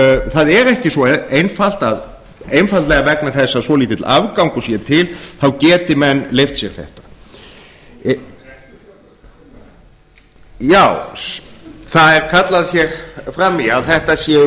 það er ekki svo einfalt einfaldlega vegna þess að svolítill afgangur sé til þá geti menn leyft sér þetta já það er kallað hér fram í að þetta séu